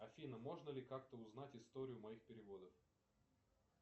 афина можно ли как то узнать историю моих переводов